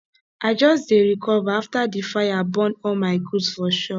i just dey recover after di fire burn all my goods for shop